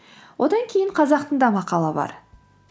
одан кейін қазақтың да мақалы бар